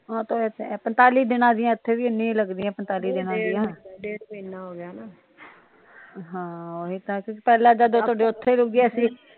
ਪੰਜਤਾਲੀ ਦਿਨਾਂ ਦੀਆ ਇੱਥੇ ਵੀ ਏਨੀਆਂ ਲਗਦੀਆਂ ਪੰਜਤਾਲੀ ਦਿਨਾ ਦੀਆ ਹਾਂ ਪਹਿਲਾ ਤਾ ਤੁਹਾਡੇ ਉੱਥੇ ਰੁਕਿਆ ਸੀ